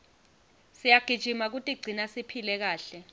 siyagijima kutigcina siphile kahle